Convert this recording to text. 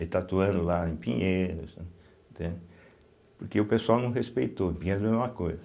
Ele está atuando lá em Pinheiros, né, entende, porque o pessoal não respeitou, Pinheiros é a mesma coisa.